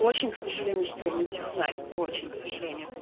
очень к сожалению что я не технарь очень к сожалению